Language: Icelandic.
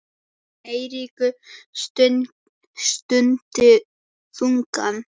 Eiríkur stundi þungan.